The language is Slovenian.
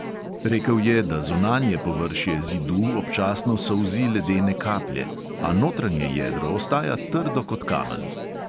Rekel je, da zunanje površje zidu občasno solzi ledene kaplje, a notranje jedro ostaja trdo kot kamen.